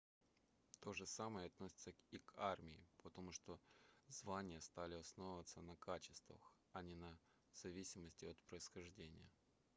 то же самое относится и к армии потому что звания стали основываться на качествах а не в зависимости от происхождения